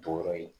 Jɔyɔrɔ ye